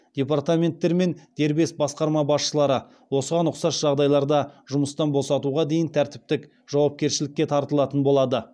департаменттер мен дербес басқарма басшылары осыған ұқсас жағдайларда жұмыстан босатуға дейін тәртіптік жауапкершілікке тартылатын болады